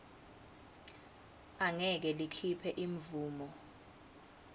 angeke likhiphe imvumo